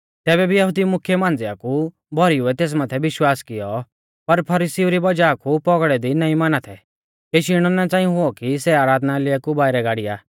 तैबै भी यहुदी मुख्यै मांझ़िआ कु भौरीउऐ तेस माथै विश्वास किऔ पर फरीसीउ री वज़ाह कु पौगड़ै दी नाईं माना थै केशी इणौ ना च़ांई हुऔ कि सै आराधनालय कु बाइरै गाड़िया